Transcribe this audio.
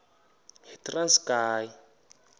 yitranskayi